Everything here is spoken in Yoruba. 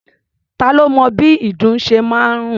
Ta lo mọ bí ìdun ṣe máa ń rùn?